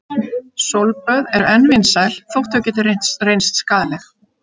Sólböð eru enn vinsæl þótt þau geti reynst skaðleg.